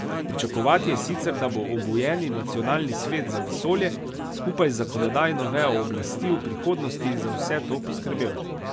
Pričakovati je sicer, da bo obujeni Nacionalni svet za vesolje skupaj s zakonodajno vejo oblasti v prihodnosti za vse to poskrbel.